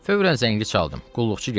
Fövvrən zəngli çaldım, qulluqçu gəldi.